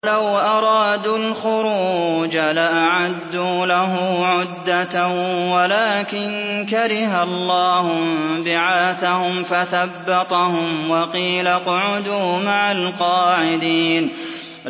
۞ وَلَوْ أَرَادُوا الْخُرُوجَ لَأَعَدُّوا لَهُ عُدَّةً وَلَٰكِن كَرِهَ اللَّهُ انبِعَاثَهُمْ فَثَبَّطَهُمْ وَقِيلَ اقْعُدُوا مَعَ الْقَاعِدِينَ